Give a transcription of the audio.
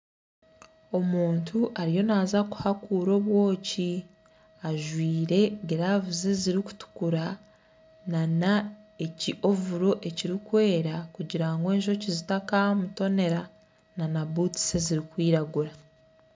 Omuntu ariyo naaza kuhakuura obwoki, ajwaire giravuzi ezirikutukura na ki ovuro ekirikwera kugira ngu enjoki zitakamutonera na butusi ezirikwiragura.